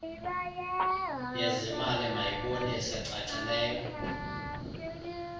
yezimali mayibonise cacileyo